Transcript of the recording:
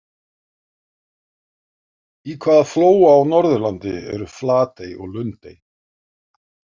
Í hvaða flóa á Norðurlandi eru Flatey og Lundey?